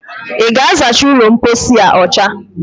I ga-azacha ụlọmpochi a ọcha